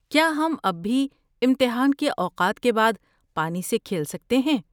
کیا ہم اب بھی امتحان کے اوقات کے بعد پانی سے کھیل سکتے ہیں؟